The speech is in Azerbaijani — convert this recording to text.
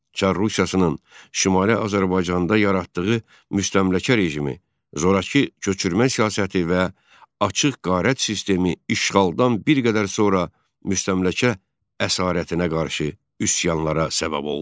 Çar Rusiyasının Şimali Azərbaycanda yaratdığı müstəmləkə rejimi, zorakı köçürmə siyasəti və açıq qarət sistemi işğaldan bir qədər sonra müstəmləkə əsarətinə qarşı üsyanlara səbəb oldu.